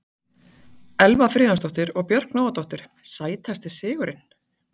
Elva Friðjónsdóttir og Björk Nóadóttir Sætasti sigurinn?